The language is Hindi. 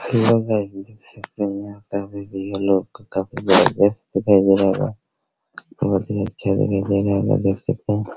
हेलो गाइस देख सकते हैं यहाँ काफी भैया लोग काफी जबरदस्त दिखाई दे रहा होगा बहुत ही अच्छा जगह बना हुआ देख सकते है |